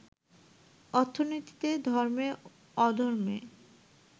অর্থনীতিতে, ধর্মে, অধর্মে